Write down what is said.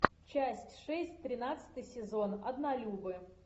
часть шесть тринадцатый сезон однолюбы